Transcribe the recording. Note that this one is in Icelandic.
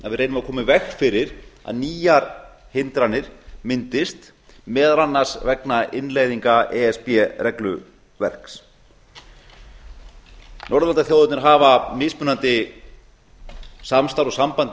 að við reynum að koma í veg fyrir að nýjar hindranir myndist meðal annars vegna innleiðinga e s b regluverks norðurlandaþjóðirnar hafa mismunandi samstarf og saman